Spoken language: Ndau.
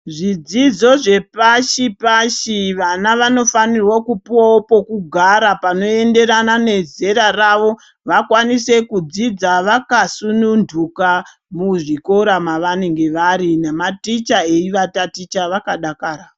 Zvidzidzo zvepashi pashi, vana vanofaniro kupuwawo pekugara, panoyenderana nezera ravo, vakwanise kudzidza vakasunundhuka, muzvikira mavanenge vari nematicha eyivataticha vakadakara.